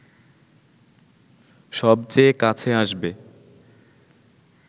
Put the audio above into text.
সবচেয়ে কাছে আসবে